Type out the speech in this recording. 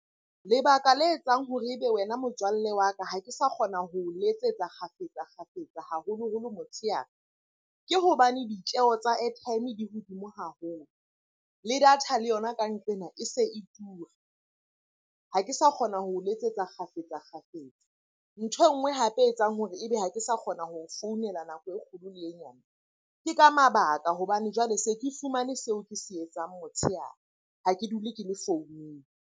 Lebaka le etsang hore ebe wena motswalle wa ka ha ke sa kgona ho letsetsa kgafetsa-kgafetsa, haholoholo motshehare. Ke hobane ditjeho tsa airtime di hodimo haholo le data le yona ka nqena ena e se e tura, ha ke sa kgona ho letsetsa kgafetsa-kgafetsa. Nthwe e nngwe hape e etsang hore ebe ha ke sa kgona ho founela nako e kgolo le e nyane. Ke ka mabaka hobane jwale se ke fumane seo ke se etsang motshehare, ha ke dule ke le founung.